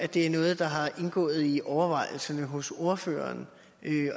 det er noget der har indgået i overvejelserne hos ordføreren